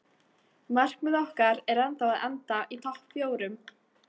Markmið okkar er ennþá að enda í topp fjórum.